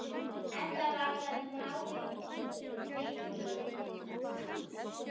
Enda varðar málið miklu.